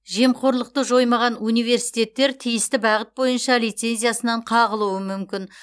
жемқорлықты жоймаған университеттер тиісті бағыт бойынша лицензиясынан қағылуы мүмкін